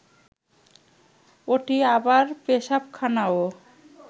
ওটি আবার পেশাবখানাও